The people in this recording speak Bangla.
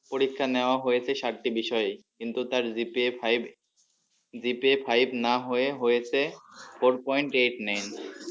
পরীক্ষা নেওয়া হয়েছে সাতটি বিষয়ে কিন্তু তার GPA Five না হয়ে হয়েছে four point eight nine